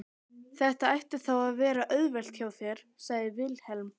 Þetta ætti þá að vera auðvelt hjá þér, sagði Vilhelm.